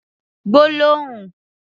Sentence